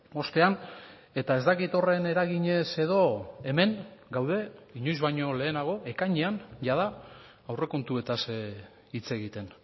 ostean eta ez dakit horren eraginez edo hemen gaude inoiz baino lehenago ekainean jada aurrekontuetaz hitz egiten